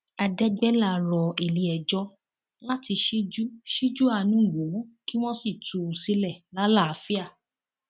àdẹgbẹlá rọ iléẹjọ láti ṣíjú ṣíjú àánú wò ó kí wọn sì tú u sílẹ lálàáfíà